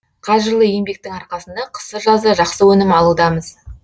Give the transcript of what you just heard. қажырлы еңбектің арқасында қысы жазы жақсы өнім алудамыз